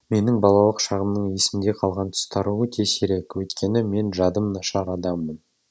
менің балалық шағымның есімде қалған тұстары өте сирек өйткені мен жадым нашар адаммын